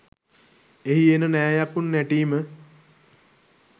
එහි එන නෑ යකුන් නැටීම